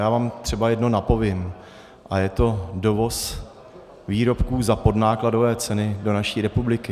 Já vám třeba jedno napovím a je to dovoz výrobků za podnákladové ceny do naší republiky.